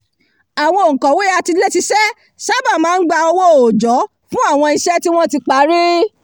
àwọn òǹkọ̀wé atiléṣiṣẹ́ sábà máa ń gba owó òòjọ́ fún àwọn iṣẹ́ tí wọ́n ti parí